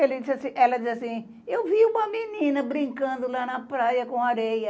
Ele disse, ela disse assim, eu vi uma menina brincando lá na praia com areia.